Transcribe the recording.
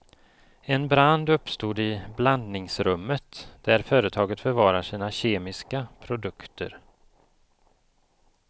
En brand uppstod i blandningsrummet där företaget förvarar sina kemiska produkter.